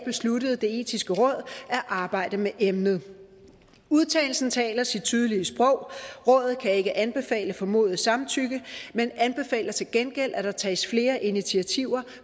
besluttede det etiske råd at arbejde med emnet udtalelsen derfra talte sit tydelige sprog rådet kan ikke anbefale formodet samtykke men anbefaler til gengæld at der tages flere initiativer